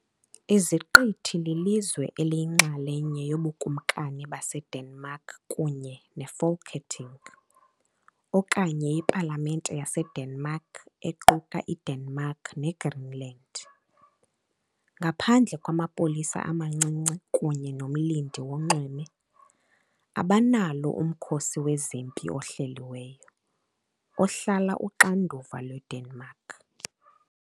Iziqithi lilizwe eliyinxalenye yoBukumkani baseDenmark kunye neFolketing, okanye iPalamente yaseDenmark, equka iDenmark kunye neGreenland. Ngaphandle kwamapolisa amancinci kunye nomlindi wonxweme, abanalo umkhosi wezempi ohleliweyo, ohlala uxanduva lweDenmark.